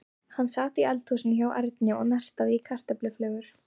Hann sat í eldhúsinu hjá Erni og nartaði í kartöfluflögur.